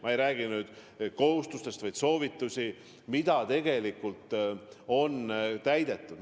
Ma ei räägi kohustustest, vaid soovitustest, mida tegelikult on täidetud.